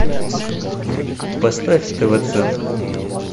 поставь тв центр